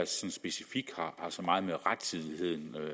specifikt har så meget med rettidigheden